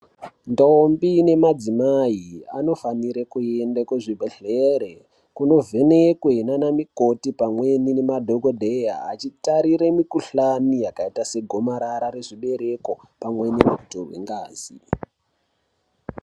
Ndombi nemadzimai anofanire kuenda kuzvibhedhlere kunovhenekwe nana mikoti pamwe nemadhokodheya achitarire mikhuhlani yakaita segomarara rezvibereko pamwe nekutorwe ngazi.